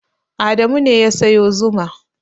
Adamu ne ya sayo zuma.